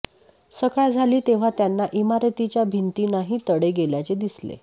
सकाळ झाली तेव्हा त्यांना इमारतीच्या भिंतींनाही तडे गेल्याचे दिसले